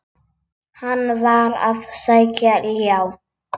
Hann var að sækja ljá.